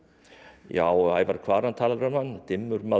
já Ævar Kvaran talar um hann dimmur maður og